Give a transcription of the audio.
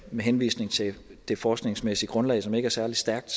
med henvisning til det forskningsmæssige grundlag som ikke er særlig stærkt